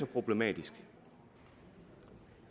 problematisk